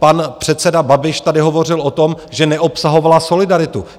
Pan předseda Babiš tady hovořil o tom, že neobsahovala solidaritu.